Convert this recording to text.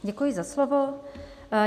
Děkuji za slovo.